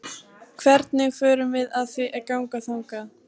Hvernig förum við að því að ganga þangað?